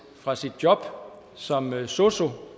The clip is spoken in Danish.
fra sit job som sosu